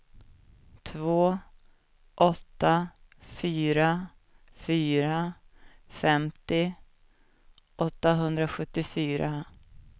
två åtta fyra fyra femtio åttahundrasjuttiofyra